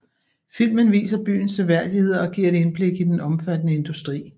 Filmen viser byens seværdigheder og giver et indblik i den omfattende industri